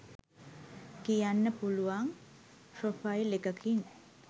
කියන්න පුළුවන් ප්‍රොෆයිල් එකකින්.